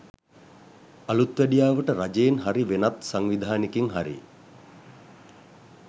අලුත්වැඩියාවට රජයෙන් හරි වෙනත් සංවිධානෙකින් හරි